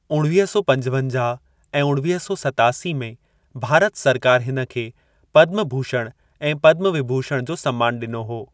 उणवीह सौ पंजवंजाह ऐं उणवीह सौ सतासी में भारत सरकार हिन खे पद्म भूषण ऐं पद्म विभूषण जो सम्मान ॾिनो हो।